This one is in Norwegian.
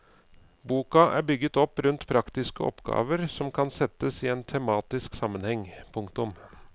Boka er bygget opp rundt praktiske oppgaver som kan settes i en tematisk sammenheng. punktum